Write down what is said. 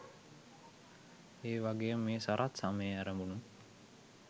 එවගේම මේ සරත් ස‍මයේ ඇරඹුණු